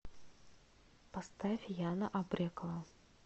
поставь яна абрекова